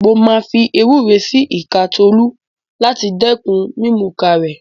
Mo máa fi ewúro sí ìka Tolú láti dẹ́kun mímùka rẹ̀.